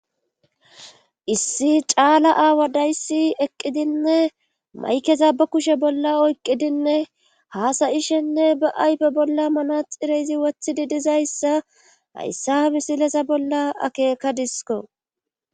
Issi caala aawa dayssi eqqidinne maykeza ba kushe bolla oyqqidinne haasayishenne ba'aybe bolla manaxireyzi wothidi dizayssa hayssa misilesa bolla akeekadisko